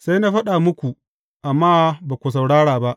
Sai na faɗa muku, amma ba ku saurara ba.